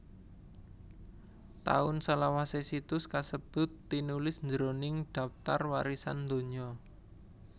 Taun salawasé situs kasebut tinulis jroning Dhaptar Warisan Donya